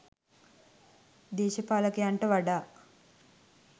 දේශපාලකයන්ට වඩා